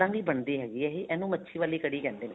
ਨਹੀਂ ਬਣਦੀ ਹੈਗੀ ਇਹ ਇਹਨੂੰ ਮੱਛੀ ਵਾਲੀ ਕੜੀ ਕਹਿੰਦੇ ਨੇ